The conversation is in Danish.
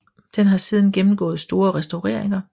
Den har siden gennemgået store restaureringer